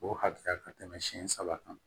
O hakɛya ka tɛmɛ siɲɛ saba kan